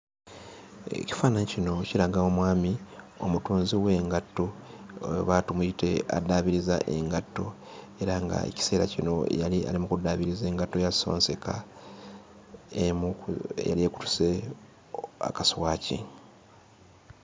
Ekifaananyi kino kiraga omwami omutunzi w'engatto oba tumuyite addaabiriza engatto era ng'ekiseera kino yali ali mu kuddaabiriza engatto ya ssonseka emu ku eyali ekutuse akaswaki.